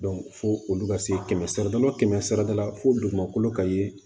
fo olu ka se kɛmɛ sira la kɛmɛ sira da la fo dugumakolo ka ye